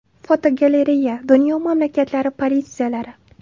Fotogalereya: Dunyo mamlakatlari politsiyalari.